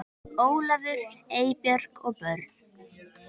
Ólafur, Eybjörg og börn.